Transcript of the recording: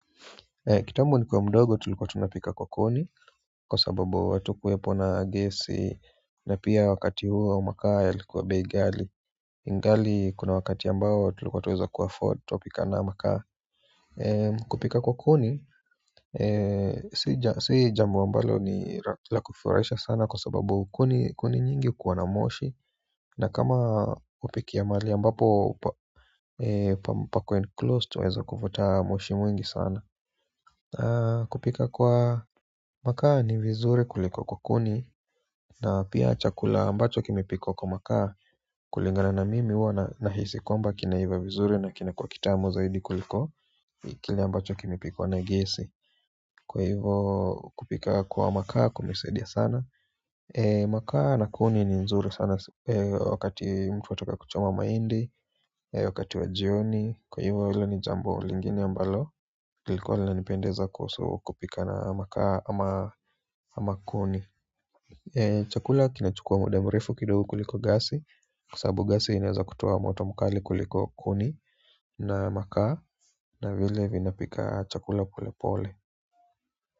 Kitambo nikiwa mdogo tulikuwa tunapika kwa kuni kwa sababu hatukuwepo na gesi na pia wakati huo makaa yalikuwa bei ghali ingali kuna wakati ambao tulikuwa tunaweza afford tunapika na hayo makaa kupika kwa kuni si jambo la kufurahisha sana kwa sababu kuni nyingi huwa na moshi na kama hupikia mahali ambapo pako enclosed tweza kupata moshi mwingi sana kupika kwa makaa ni vizuri kuliko kwa kuni na pia chakula ambacho kimepikwa kwa makaa kulingana na mimi huwa na hisi kwamba kinaiva vizuri na kinakuwa kitamu zaidi kuliko kile ambacho kimepikwa na gesi kwa hivo kupika kwa makaa kumesaidia sana makaa na kuni ni nzuri sana wakati mtu anataka kuchoma mahindi wakati wa jioni kwa hivo hilo ni jambo lingine ambalo kilikuwa inanipendeza kuhusu kupika na makaa ama kuni chakula kinachukua muda mrefu kidogo kuliko gasi kwa sababu gasi inaweza kutoa moto mkali kuliko kuni na makaa na vile vinapika chakula polepole.